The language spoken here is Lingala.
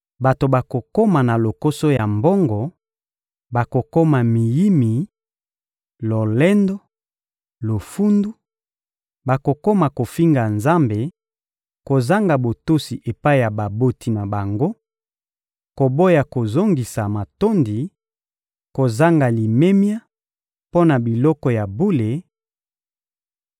bato bakokoma na lokoso ya mbongo, bakokoma miyimi, lolendo, lofundu; bakokoma kofinga Nzambe, kozanga botosi epai ya baboti na bango, koboya kozongisa matondi, kozanga limemia mpo na biloko ya bule,